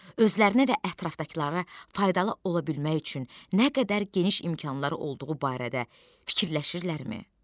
Özlərinə və ətrafdakılara faydalı ola bilmək üçün nə qədər geniş imkanları olduğu barədə fikirləşirlərmi?